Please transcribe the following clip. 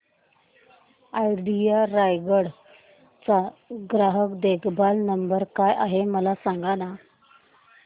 idea Raigad चा ग्राहक देखभाल नंबर काय आहे मला सांगाना